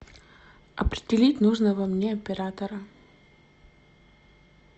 определить нужного мне оператора